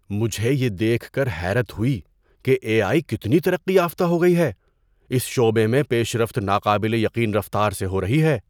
مجھے یہ دیکھ کر حیرت ہوئی کہ اے آئی کتنی ترقی یافتہ ہو گئی ہے۔ اس شعبے میں پیش رفت ناقابل یقین رفتار سے ہو رہی ہے۔